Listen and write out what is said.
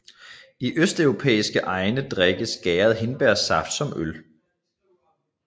I østeuropæiske egne drikkes gæret hindbærsaft som øl